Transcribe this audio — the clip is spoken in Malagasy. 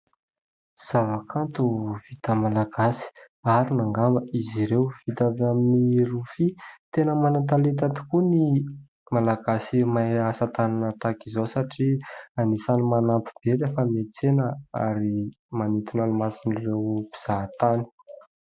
Zavakanto vita malagasy, arona angamba izy ireo, vita avy amin'ny rofia. Tena manan-talenta tokoa ny malagasy mahay asan-tanana tahaka izao satria anisany manampy be lay fa miantsena, ary manintona ny mason' ireo mpizaha tany.